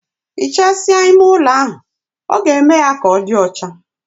Hichasia ime ụlo ahụ, ọ ga-eme ya ka ọdi ọcha